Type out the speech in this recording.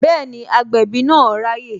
Bẹẹni, agbẹ̀bí náà raye